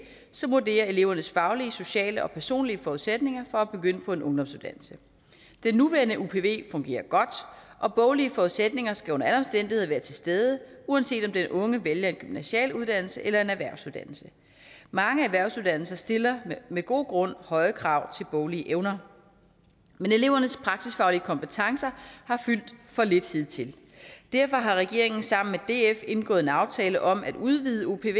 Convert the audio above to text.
som vurderer elevernes faglige sociale og personlige forudsætninger for at begynde på en ungdomsuddannelse den nuværende upv fungerer godt og boglige forudsætninger skal under alle omstændigheder være til stede uanset om den unge vælger en gymnasial uddannelse eller en erhvervsuddannelse mange erhvervsuddannelser stiller med god grund høje krav til boglige evner men elevernes praksisfaglige kompetencer har fyldt for lidt hidtil derfor har regeringen sammen med df indgået en aftale om at udvide upven